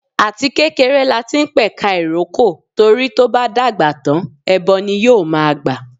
Àti kékeré lati ń pẹ̀ka ìrókò, torí tó bá dàgbà tán ẹbọ ni yóò ma gbà.